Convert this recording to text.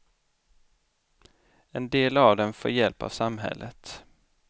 En del av dem får hjälp av samhället.